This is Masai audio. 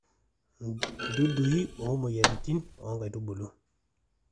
dudui o moyiaritin oo nkaitubulu